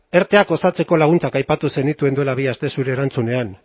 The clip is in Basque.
erte osatzeko laguntzak aipatu zenituen duela bi aste zure erantzunean